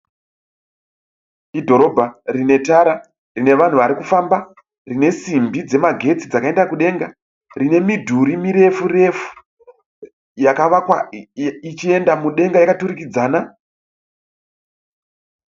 Idhirobha rinetara, rinevanhu varikufamba, rine risimbi dzemagetsi dzakaenda kudenga. Rinemidhuri mirefu refu yakavakwa ichienda mudenga yakaturikidzana.